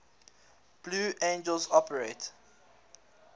blue angels operate